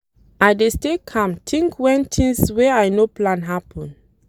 I dey stay calm tink wen tins wey I no plan happen.